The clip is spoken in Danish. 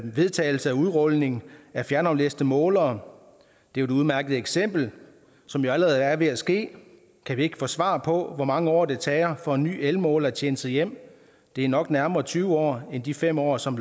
vedtagelse af udrulning af fjernaflæste målere det er et udmærket eksempel som jo allerede er ved at ske kan vi ikke få svar på hvor mange år det tager for en ny elmåler at tjene sig hjem det er nok nærmere tyve år end de fem år som